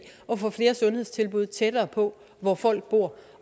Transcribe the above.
at få flere sundhedstilbud tættere på hvor folk bor